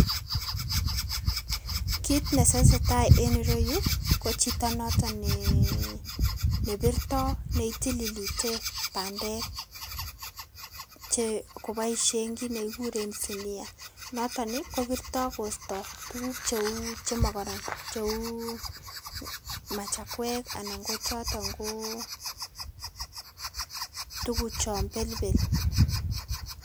Kit nesesetai en ireyu ko chito noton nee birto neitililite bandek che koboisien kiy nekikuren sinia. Noton ii kobirto kosto tuguk cheu chemokoron cheu machakwek anan ko choton koo tuguchon belbel.